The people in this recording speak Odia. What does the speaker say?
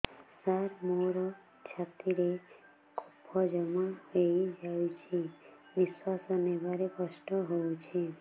ସାର ମୋର ଛାତି ରେ କଫ ଜମା ହେଇଯାଇଛି ନିଶ୍ୱାସ ନେବାରେ କଷ୍ଟ ହଉଛି